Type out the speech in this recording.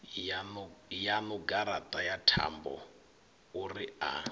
yaṋu garaṱa ya thambouri a